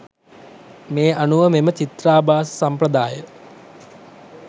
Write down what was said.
මේ අනුව මෙම චිත්‍රාභාස සම්ප්‍රදාය